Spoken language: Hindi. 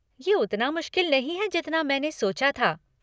ये उतना मुश्किल नहीं है जितना मैंने सोचा था।